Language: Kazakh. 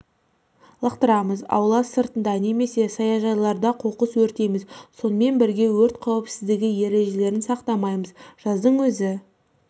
лақтырамыз аула сыртында немесе саяжайларда қоқыс өртейміз сонымен бірге өрт қауіпсіздігі ережелерін сақтамаймыз жаздың өзі